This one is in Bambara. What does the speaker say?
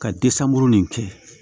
Ka nin kɛ